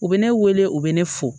U bɛ ne wele u bɛ ne fo